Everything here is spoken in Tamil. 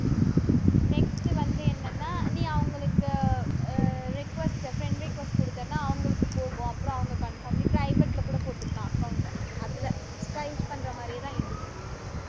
next வந்து என்னன்னா நீ அவங்களுக்கு அஹ் request, friend request கொடுத்தேன்னா அவங்களுக்குப் போகும் அப்புறம் அவங்க confirm நீ private ல கூட போட்டுக்கலாம் account ட அதுல insta use பண்ற மாதிரியேதான் இதுவும்